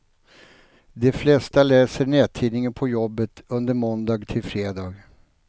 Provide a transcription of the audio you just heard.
De flesta läser nättidningen på jobbet under måndag till fredag.